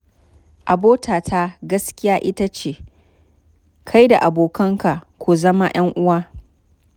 Abota ta gaskiya ita ce, kai da abokanka ku zama 'yanuwa